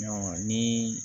ni